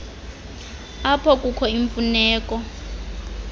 apho kukho imfuneko